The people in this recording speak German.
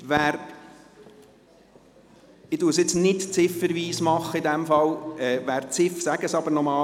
Ich gehe nicht ziffernweise vor, sage es aber nochmals: